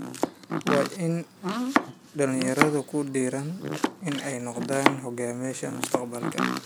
Waa in dhalinyaradu ku dhiiradaan inay noqdaan hogaamiyayaasha mustaqbalka.